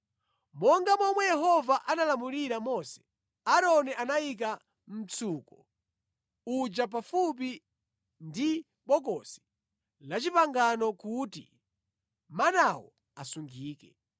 Monga momwe Yehova analamulira Mose, Aaroni anayika mtsuko uja pafupi ndi bokosi la Chipangano kuti manawo asungike.